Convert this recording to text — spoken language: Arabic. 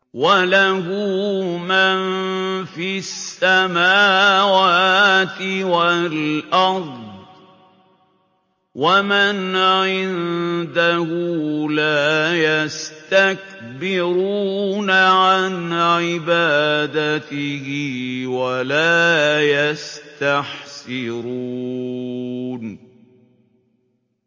وَلَهُ مَن فِي السَّمَاوَاتِ وَالْأَرْضِ ۚ وَمَنْ عِندَهُ لَا يَسْتَكْبِرُونَ عَنْ عِبَادَتِهِ وَلَا يَسْتَحْسِرُونَ